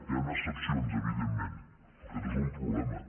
hi han excepcions evidentment però aquest és un problema